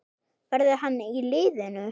Verður hann í liðinu?